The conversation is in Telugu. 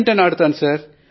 బాడ్ మింటన్ ఆట